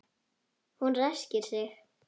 Hún ræskir sig.